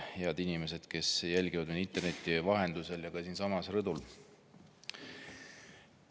Head inimesed, kes te jälgite meid interneti vahendusel ja ka siinsamas rõdul!